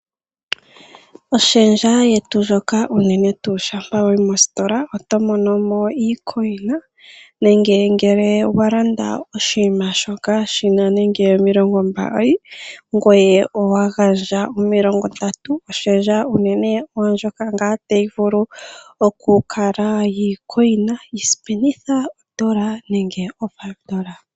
Oshendja yetu ndjoka unene tuu shampa wa yi mositola oto mono mo iimaliwa iikukutu nenge ngele wa landa oshinima shoka shi na nande omilongombali ngoye owa gandja omilongondatu, oshendja unene oyo ndjoka ngaa tayi vulu okukala yiimaliwa iikukutu ngaashi osipenitha, odola yimwe nenge oodola ntano.